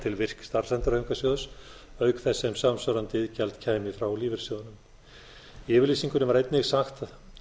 til virk starfsendurhæfingarsjóðs auk þess sem samsvarandi iðgjald kæmi frá lífeyrissjóðunum í yfirlýsingunni var einnig sagt